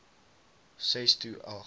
ses to agt